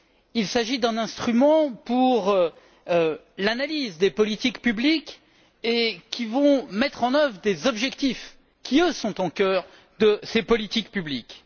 Il s'agit d'un instrument pour l'analyse des politiques publiques qui vont mettre en œuvre des objectifs qui, eux, sont au cœur de ces politiques publiques.